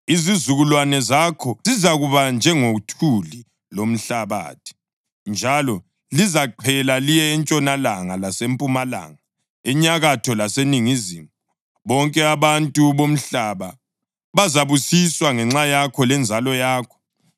Izizukulwane zakho zizakuba njengothuli lomhlabathi, njalo lizaqhela liye entshonalanga lasempumalanga, enyakatho laseningizimu. Bonke abantu bomhlaba bazabusiswa ngenxa yakho lenzalo yakho.